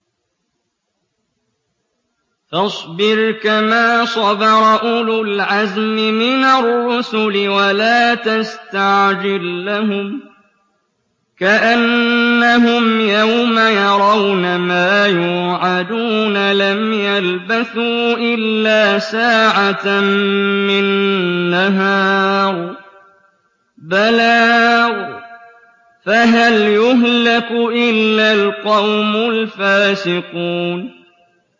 فَاصْبِرْ كَمَا صَبَرَ أُولُو الْعَزْمِ مِنَ الرُّسُلِ وَلَا تَسْتَعْجِل لَّهُمْ ۚ كَأَنَّهُمْ يَوْمَ يَرَوْنَ مَا يُوعَدُونَ لَمْ يَلْبَثُوا إِلَّا سَاعَةً مِّن نَّهَارٍ ۚ بَلَاغٌ ۚ فَهَلْ يُهْلَكُ إِلَّا الْقَوْمُ الْفَاسِقُونَ